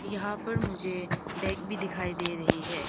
यहां पर मुझे बैग भी दिखाई दे रही है।